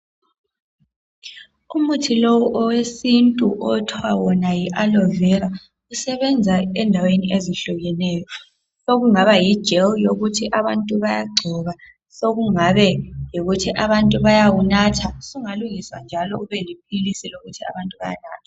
Umuthi lo owesintu okuthiwa yi aloe Vera usebenza endaweni ezehlukekeneyo sekungaba yijeli yokuthi abantu bayagcoba sekungaba yikuthi abantu bayawunatha sungalungiswa njalo ube liphilisi lokuthi abantu bayanatha.